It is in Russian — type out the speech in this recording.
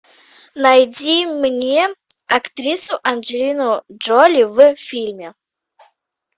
найди мне актрису анджелину джоли в фильме